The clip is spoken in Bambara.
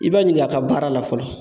I b'a ɲining'a ka baara la fɔlɔ